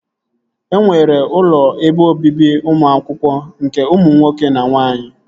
E nwere ụlọ ebe obibi ụmụ akwụkwọ nke ụmụ nwoke na nwaanyị